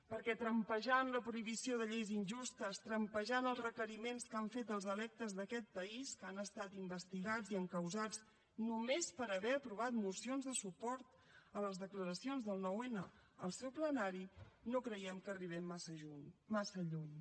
perquè trampejant la prohibició de lleis injustes trampejant els requeriments que han fet als electes d’aquest país que han estat investigats i encausats només per haver aprovat mocions de suport a les declaracions del nou n al seu plenari no creiem que arribem massa lluny